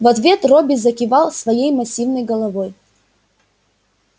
в ответ робби закивал своей массивной головой